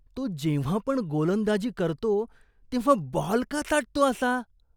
तो जेव्हा पण गोलंदाजी करतो तेव्हा बॉल का चाटतो असा?